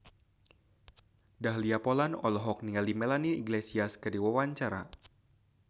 Dahlia Poland olohok ningali Melanie Iglesias keur diwawancara